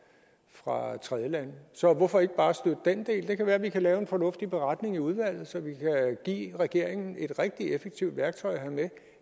fra tredjelande så hvorfor ikke bare støtte den del det kan være at vi kan lave en fornuftig beretning i udvalget så vi kan give regeringen et rigtig effektivt værktøj at have med